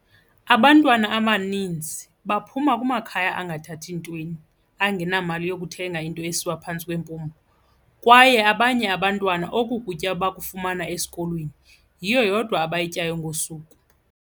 Abantwana abaninzi baphuma kumakhaya angathathi ntweni, angenamali yokuthenga into esiwa phantsi kwempumlo, kwaye abanye abantwana oku kutya bakufumana esikolweni, yiyo yodwa abayityayo ngosuku.